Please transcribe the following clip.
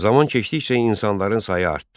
Zaman keçdikcə insanların sayı artdı.